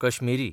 Kashmiri